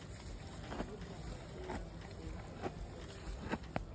nobujamo bemvumo kungaba